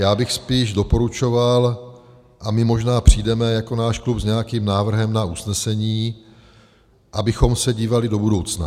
Já bych spíš doporučoval - a my možná přijdeme jako náš klub s nějakým návrhem na usnesení - abychom se dívali do budoucna.